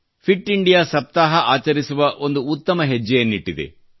fit India ಸಪ್ತಾಹವನ್ನು ಆಚರಿಸಲಾಯಿತು